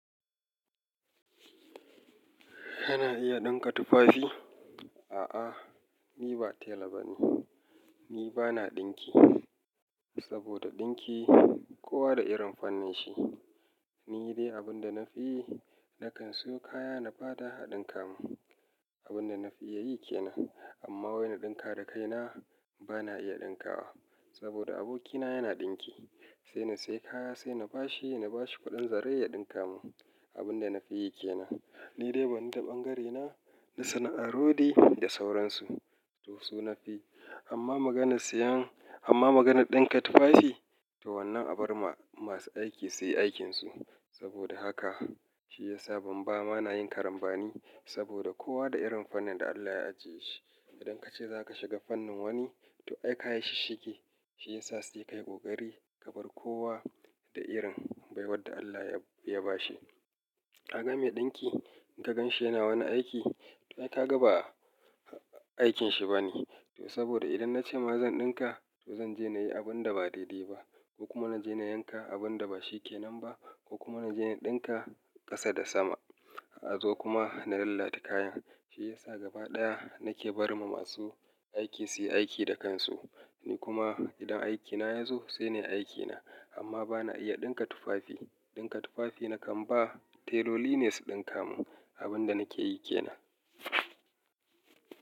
Kana iya ɗinka tufafi? A'a, ni ba tela ba ne. Ni ba na ɗinki. Saboda ɗinki, kowa da irin pannin shi. Ni dai abin da na fi, na kan siyo kaya na bada a ɗinka mun. Abun da na fi iya yi kenan. Amma wai na ɗinka da kaina, ba na iya ɗinka wa. Saboda abokina yana ɗinki. Ni dai abin da na fi yi, na kan siyo kaya na bada a ɗinka mun. Abin da na fi iya yi ke nan. Abun da na fi yi ke nan. Ni dai, banni ta ɓangarena na sana'ar rodi da sauransu. To so na fi. Amma maganar siyan, amma maganar ɗinka tufafi, to wannan a bar ma masu aiki su yi aikin su. Saboda haka, shi ya sa ban ba, ba na yin karambani. Saboda kowa da irin fannin da Allah ya ajiye shi. Idan ka ce za ka shiga fannin wani, to ai ka yi shi shisshigi. Shi ya sa sai kai ƙoƙari ka bar kowa da irin baiwar da Allah ya, ya ba shi. Ka ga mai ɗinki, in ka gan shi yana wani aiki, to ai ka ga ba aikin shi ba ne. To saboda idan na ce ma zan ɗinka, to zan je na yi abun da ba daidai ba. Ko kuma na je na yanka abun da ba shi kenan ba. Ko kuma na je na ɗinka ƙasa da sama. A zo kuma na lalata kayan. Shi ya sa gaba ɗaya, na ke barma masu aiki su yi aiki da kan su. Ni kuma idan aikina ya zo sai nai aiki na. Amma ba na iya ɗinka tufafi. Ɗinka tufafi na kan ba teloli ne su ɗinka mun. Abun da na ke yi kenan.